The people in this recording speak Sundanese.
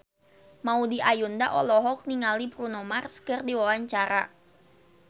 Maudy Ayunda olohok ningali Bruno Mars keur diwawancara